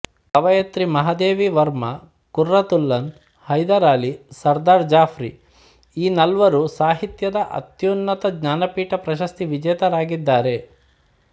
ಕವಯತ್ರಿ Mahadevi Varma Qurratulain Hyder Ali Sardar ಜಾಫ್ರಿಈ ನಾಲ್ವರೂ ಸಾಹಿತ್ಯದ ಅತ್ಯುನ್ನತ ಜ್ಞಾನಪೀಠ ಪ್ರಶಸ್ತಿವಿಜೇತರಾಗಿದ್ದಾರೆ